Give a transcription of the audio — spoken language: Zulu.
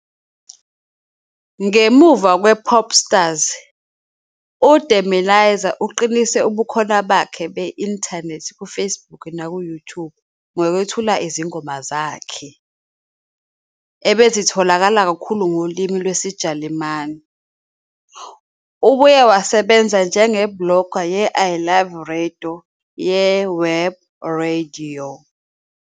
Ngemuva kwePopstars, uDemirezer uqinise ubukhona bakhe be-inthanethi kuFacebook nakuYouTube ngokwethula izingoma zakhe, ebezitholakala kakhulu ngolimi lwesiJalimane. Ubuye wasebenza njenge-blogger ye- "I Love Radio" yeWebradio.